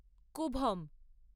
কূভম